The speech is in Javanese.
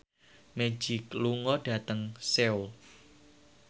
Magic lunga dhateng Seoul